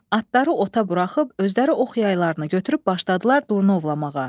Atları ota buraxıb özləri ox yaylarını götürüb başladılar durnovlamağa.